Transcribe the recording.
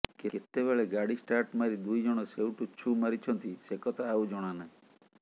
କେତେବେଳେ ଗାଡି ଷ୍ଟାର୍ଟ ମାରି ଦୁଇଜଣ ସେଇଠୁ ଛୁ ମାରିଛନ୍ତି ସେକଥା ଆଉ ଜଣା ନାହିଁ